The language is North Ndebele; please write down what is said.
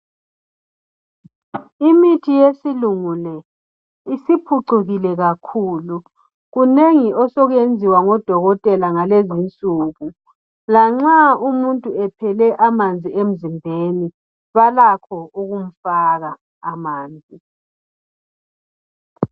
Imithi yesilungu le isiphucukile kakhulu kunengi osokuyenziwa ngodokotela ngalezi insuku lanxa umuntu ephele amanzi emzimbeni balakho ukumfaka amanzi.